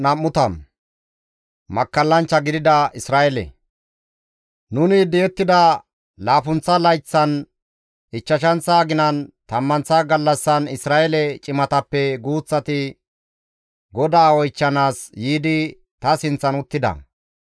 Nuni di7ettida laappunththa layththan, ichchashanththa aginan, tammanththa gallassan, Isra7eele cimatappe guuththati GODAA oychchanaas yiidi ta sinththan uttida.